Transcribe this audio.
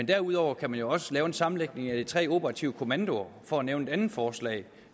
derudover kan man jo også lave en sammenlægning af de tre operative kommandoer for at nævne et andet forslag